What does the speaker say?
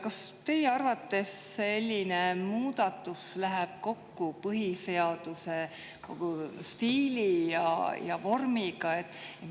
Kas teie arvates läheb selline muudatus kokku põhiseaduse stiili ja vormiga?